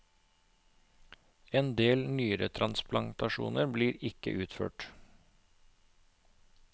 En del nyretransplantasjoner blir ikke utført.